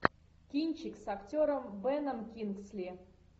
кинчик с актером беном кингсли